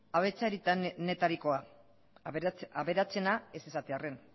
aberatsenetarikoa aberatsena ez esatearren